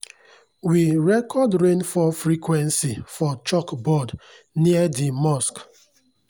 we record rainfall frequency for chalkboard near di mosque.